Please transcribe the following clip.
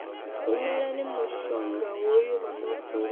rumelani mushongahoyu ha makhulu waṋu